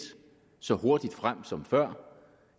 så hurtigt frem som før